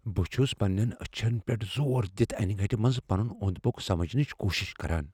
بہٕ چھٗس پنین اچھن پیٹھ زور دِتھ انہِ گٕٹہِ مٕنزِ پنٗن اۄند پۄك سمجنٕچ كوُشِش كران ۔